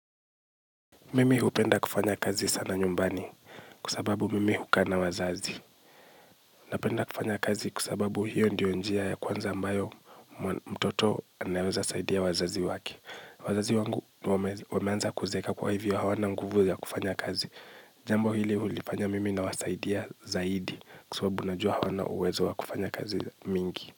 Mimi hupenda kufanya kazi sana nyumbani kwa sababu mimi hukaa na wazazi. Napenda kufanya kazi kwa sababu hiyo ndiyo njia ya kwanza ambayo mtoto anaweza saidia wazazi wake. Wazazi wangu wameanza kuzeeka kwa hivyo hawana nguvu ya kufanya kazi. Jambo hili hulifanya mimi nawasaidia zaidi kwa sababu unajua hawana uwezo wa kufanya kazi mingi.